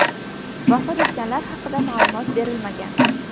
Vafot etganlar haqida ma’lumot berilmagan.